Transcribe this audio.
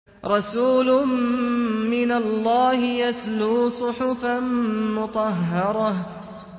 رَسُولٌ مِّنَ اللَّهِ يَتْلُو صُحُفًا مُّطَهَّرَةً